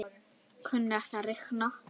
Kunni ekki að reikna.